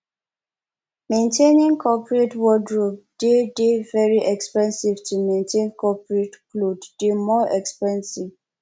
maintaining coperate wordrobe dey de very expensive to maintain coperate cloth dey more expensive